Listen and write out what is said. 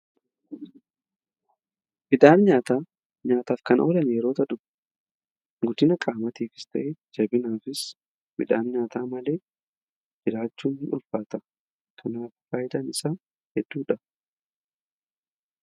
Midhaan nyaataa nyaataaf kan oolan yeroo ta'u guddina qaamatiifis ta'ee jabinaafis midhaan nyaataa malee jiraachuun ulfaata kanaaf faayidan isaa hedduudha.